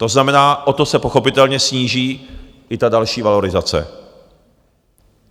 To znamená, o to se pochopitelně sníží i ta další valorizace.